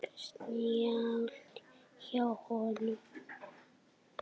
Snjallt hjá honum.